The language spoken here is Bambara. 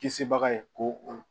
Kisibaga ye ko o